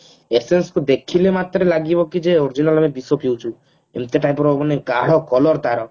essence କୁ ଦେଖିଲା ମାତ୍ରେ ଲାଗିବ କି ଯେ original ଆମେ ବିଷ ପିଉଛୁ ଏମତି type ର ମାନେ ଗାଢ color ତାର